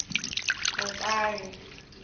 mutale